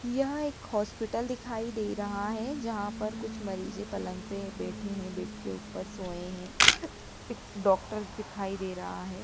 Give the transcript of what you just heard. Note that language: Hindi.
यह एक हॉस्पिटल दिखाई दे रहा है जहां पर कुछ मरीजे पलंग पे बैठे हैं बेड के ऊपर सोए हैं डॉक्टर दिखाई दे रहा है।